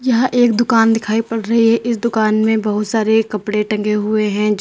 यह एक दुकान दिखाई पड़ रही है इस दुकान में बहुत सारे कपड़े टंगे हुए हैं। जो